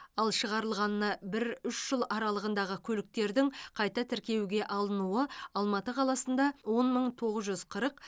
ал шығарылғанына бір үш жыл аралығындағы көліктердің қайта тіркеуге алынуы алматы қаласында он мың тоғыз жүз қырық